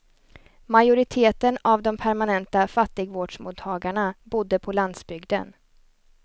Majoriteten av de permanenta fattigvårdsmottagarna bodde på landsbygden.